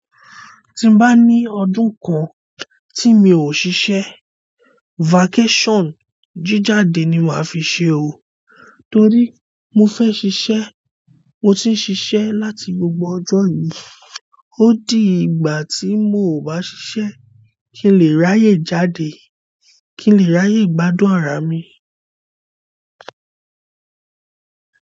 Tí n bá ní ọdún kan tí mi ò ṣiṣẹ́, vacation jíjáde ni màá fi ṣe o. Torí mo fẹ́ ṣiṣẹ́, mo ti ṣiṣẹ́ láti gbogbo ọjọ́ yìí. Ó di ìgbà tí mo ò bá ṣiṣẹ́ kí n lè ráyè jáde, kí n lè ráyè gbádùn ara mi.